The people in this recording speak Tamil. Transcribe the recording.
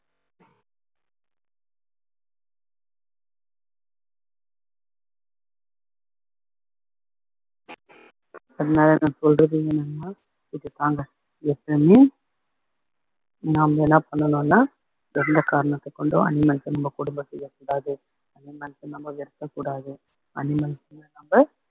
என்ன நான் சொல்றது என்னன்னா இதுதாங்க எப்பையுமே நாம என்ன பண்ணணும்னா எந்த காரணத்தைக் கொண்டு animals அ நம்ம கொடும செய்ய கூடாது animals அ நம்ம வெருக்கக் கூடாது animals அ நம்ம